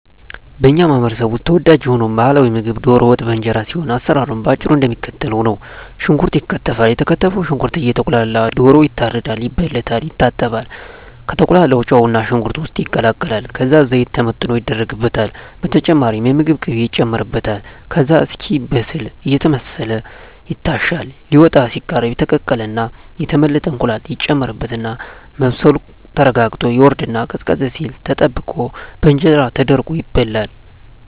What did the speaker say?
በኛ ማህበረሰብ ውስጥ ተወዳጅ የሆነው ባህላዊ ምግብ ደሮ ወጥ በእንጀራ ሲሆን አሰራሩም በአጭሩ እደሚከተለው ነው። ሽንኩርት ይከተፋል የተከተፈው ሽንኩርት እየቁላላ ደሮ ይታረዳል፣ ይበለታል፣ ይታጠባል፣ ከተቁላላው ጨውና ሽንኩርት ውስጥ ይቀላቀላል ከዛ ዘይት ተመጥኖ ይደረግበታል በተጨማሪም የምግብ ቅቤ ይጨመርበታል ከዛ እስኪበስል አየተማሰለ ይታሻል ሊወጣ ሲቃረብ የተቀቀለና የተመለጠ እንቁላል ይጨመርበትና መብሰሉ ተረጋግጦ ይወርድና ቀዝቀዝ ሲል ተጠብቆ በእንጀራ ተደርጎ ይበላል።